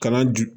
Kalan dun